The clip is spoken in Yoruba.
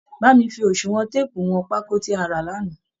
Bá mi fi oṣùwọn téèpù wọn pákó tí a rà lánàá